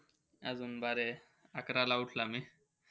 अजून बारे अकराला उठला मी.